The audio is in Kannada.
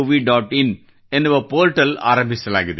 in ಎನ್ನುವ ಪೋರ್ಟಲ್ ಆರಂಭಿಸಲಾಗಿದೆ